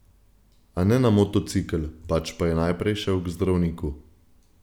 A ne na motocikel, pač pa je najprej šel k zdravniku.